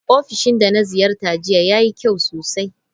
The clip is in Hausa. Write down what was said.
Ofishin da na ziyarta jiya yayi kyau sosai.